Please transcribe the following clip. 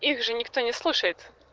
их же никто не слушает